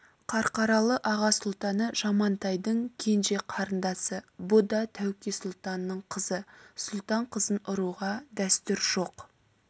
қарқаралы аға сұлтаны жамантайдың кенже қарындасы бұ да тәуке сұлтанның қызы сұлтан қызын ұруға дәстүр жоқ